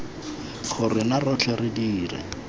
gore rona rotlhe re dire